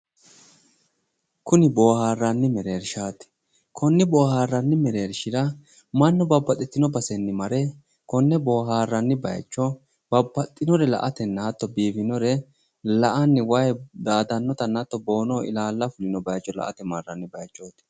Kuni booharanni mereereshati kone basera mannu daa"atate mare wayi daadanotta la"atenna bobboda fulitino base la"anni daa"attano baseti